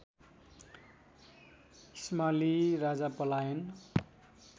इस्माली राजा पलायन